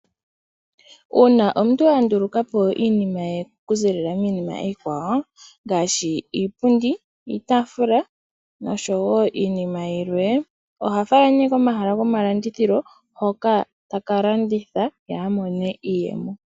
Uuna omuntu andulukapo iinima ye okuziilila miinima iikwawo, ngaashi iipundi iitaafula noshowo iinima yilwe, oha fala nee komahala go malandithilo hoka taka landitha ye amone iiyemo.